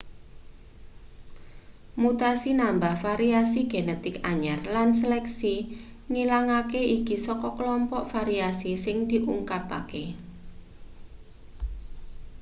mutasi nambah variasi genetik anyar lan seleksi ngilangake iki saka kelompok variasi sing diungkapake